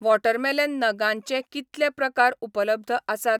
Watermelon नगांचे कितले प्रकार उपलब्ध आसात?